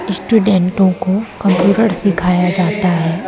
स्टूडेंटों को कंप्यूटर सिखाया जाता है।